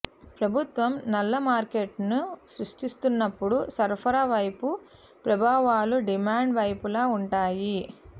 ప్రభుత్వం నల్ల మార్కెట్ను సృష్టిస్తున్నప్పుడు సరఫరా వైపు ప్రభావాలు డిమాండ్ వైపులా ఉంటాయి